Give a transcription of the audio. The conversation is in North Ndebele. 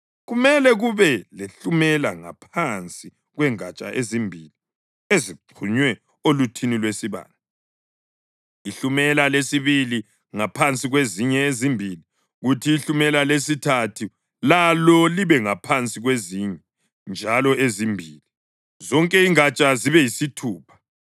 Kumele kube lehlumela ngaphansi kwengatsha ezimbili ezixhunywe oluthini lwesibane, ihlumela lesibili ngaphansi kwezinye ezimbili, kuthi ihlumela lesithathu lalo libe ngaphansi kwezinye njalo ezimbili, zonke ingatsha zibe yisithupha.